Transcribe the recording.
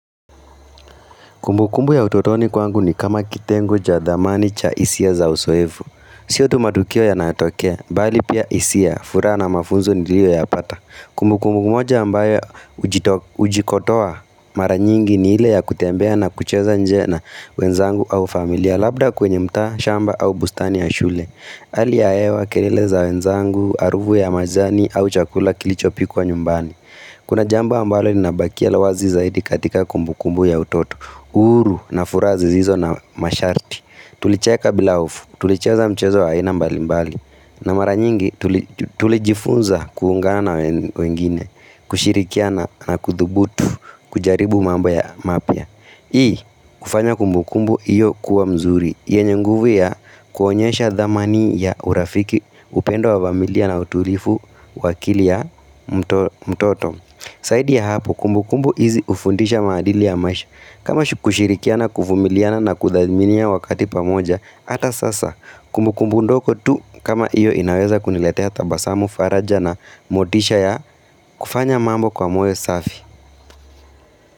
Kumbukumbu ya utotoni kwangu ni kama kitengo cha dhamani cha hisia za usoevu. Siyo tu matukio yanatokea, bali pia hisia, furaha na mafunzo niliyoyapata. Kumbukumbu moja ambayo hujikotoa mara nyingi ni ile ya kutembea na kucheza nje na wenzangu au familia labda kwenye mtaa, shamba au bustani ya shule. Ali ya ewa, kelele za wenzangu, aruvu ya majani au chakula kilichopikwa nyumbani. Kuna jambo ambalo linabakia la wazi zaidi katika kumbukumbu ya utoto Uru na furaha zizizo na masharti Tulicheka bila hofu Tulicheza mchezo wa aina mbalimbali na mara nyingi tulijifunza kuungana na wengine kushirikiana na kudhubutu kujaribu mambo ya mapya Hii hufanya kumbukumbu hiyo kuwa mzuri yenye nguvu ya kuonyesha dhamani ya urafiki upendo wa vamilia na utulifu wa akili ya mtoto saidi ya hapo kumbukumbu hizi hufundisha maadili ya maisha. Kama shu kushirikia na kuvumiliana na kuthaminia wakati pamoja, hata sasa kumbukumbu ndoko tu kama hiyo inaweza kuniletea tabasamu faraja na motisha ya kufanya mambo kwa moyo safi.